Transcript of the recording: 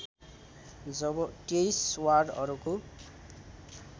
जब २३ वार्डहरूको